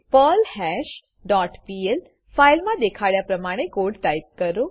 perlhash dot PL ફાઈલમા દેખાડ્યા પ્રમાણે કોડ ટાઈપ કરો